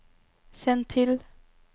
send til